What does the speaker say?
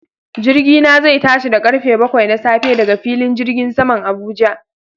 Jirgina zai tashi da karfe bakwai na safe daga filin jirgin saman Abuja